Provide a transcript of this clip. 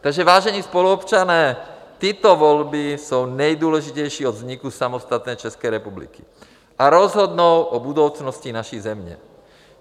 Takže vážení spoluobčané, tyto volby jsou nejdůležitější od vzniku samostatné České republiky a rozhodnou o budoucnosti naší země.